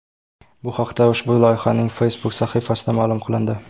Bu haqda ushbu loyihaning Facebook sahifasida ma’lum qilindi .